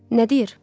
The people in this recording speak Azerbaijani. Nə deyir?